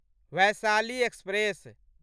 Vaishali express